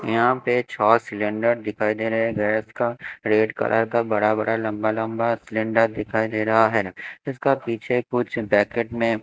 यहां पे छः सिलेंडर दिखाई दे रहे गैस का रेड कलर का बड़ा बड़ा लंबा लंबा सिलेंडर दिखाई दे रहा है इसका पीछे कुछ ब्रैकेट में--